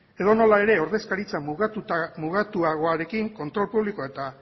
edonola ere ordezkaritza mugatuagoarekin kontrol publikoa eta